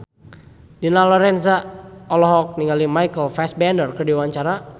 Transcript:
Dina Lorenza olohok ningali Michael Fassbender keur diwawancara